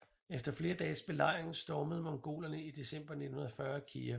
Efter flere dages belejring stormede mongolerne i december 1940 Kijev